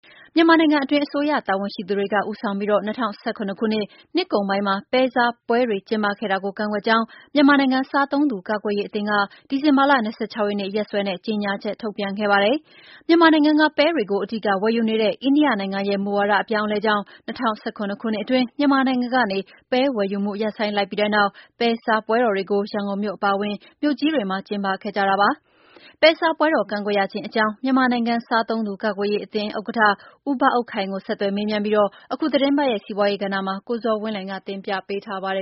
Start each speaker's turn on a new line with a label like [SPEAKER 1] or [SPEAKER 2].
[SPEAKER 1] မြန်မာနိုင်ငံအတွင်း အစိုးရတာဝန်ရှိသူတွေက ဦးဆောင်ပြီး ၂၀၁၇ ခုနှစ် နှစ်ကုန်ပိုင်းမှာ ပဲစားပွဲတွေ ကျင်းပခဲ့ကြတာကို ကန့်ကွက်ကြောင်း မြန်မာနိုင်ငံ စားသုံးသူကာကွယ်ရေးအသင်းက ဒီဇင်ဘာလ ၂၆ ရက်နေ့ ရက်စွဲနဲ့ ကြေညာချက် ထုတ်ပြန်ခဲ့ပါတယ်။ မြန်မာနိုင်ငံကပဲတွေကို အဓိက ဝယ်ယူနေတဲ့ အိန္ဒိယနိုင်ငံရဲ့ မူဝါဒ အပြောင်းအလဲကြောင့် ၂၀၁၇ ခုနှစ်အတွင်း မြန်မာနိုင်ငံကနေ ပဲဝယ်ယူမှု ရပ်ဆိုင်း လိုက်ပြီးတဲ့နောက် ပဲစားပွဲတော်တွေကို ရန်ကုန်မြို့အပါအဝင် မြို့ကြီးတွေမှာ ကျင်းပခဲ့ကြတာပါ။ ပဲစားပွဲတော် ကန့်ကွက်ရခြင်း အကြောင်း မြန်မာနိုင်ငံ စားသုံးသူ ကာကွယ်ရေးအသင်းဥက္ကဋ္ဌ ဦးဘအုပ်ခိုင်ကို ဆက်သွယ် မေးမြန်းပြီး အခုသီတင်းပတ်ရဲ့ စီးပွားရေးကဏ္ဍမှာ ကိုဇော်ဝင်းလှိုင်က တင်ပြပေ
[SPEAKER 2] းထားပါတယ